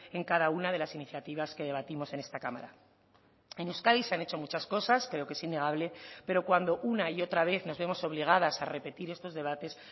en cada una de las iniciativas que debatimos en esta cámara en euskadi se han hecho muchas cosas creo que es innegable pero cuando una y otra vez nos vemos obligadas a repetir estos debates